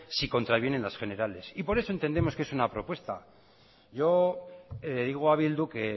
si contravienen las generales y por eso entendemos que es una propuesta yo le digo a bildu que